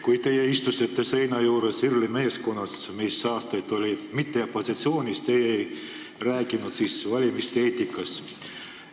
Kui te istusite seina ääres IRL-i meeskonnas, mis aastaid ei olnud opositsioonis, siis te ei rääkinud valimiste eetikast.